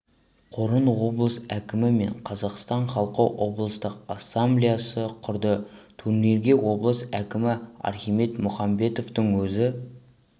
қорын облыс әкімі мен қазақстан халқы облыстық ассамблеясы құрды турнирге облыс әкімі архимед мұхамбетовтың өзі